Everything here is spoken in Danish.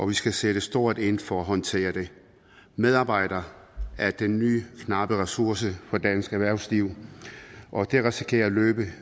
vi skal sætte stort ind for at håndtere det medarbejdere er den nye knappe ressource for dansk erhvervsliv og det risikerer at løbe